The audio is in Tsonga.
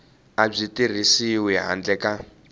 a byi tirhisiwi handle ka